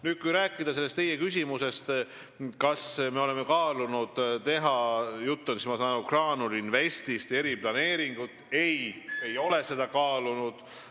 Nüüd, kui rääkida teie sellest küsimusest, kas me oleme kaalunud teha – jutt on, ma saan aru, Graanul Investist – eriplaneeringut, siis ei, me ei ole seda kaalunud.